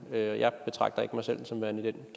og jeg betragter ikke mig selv den som værende i den